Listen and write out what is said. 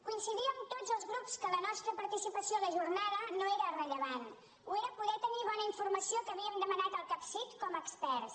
coincidíem tots els grups que la nostra participació a la jornada no era rellevant ho era poder tenir bona informació que havíem demanat al capcit com a experts